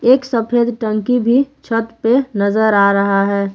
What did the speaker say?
एक सफेद टंकी भी छत पे नजर आ रहा है।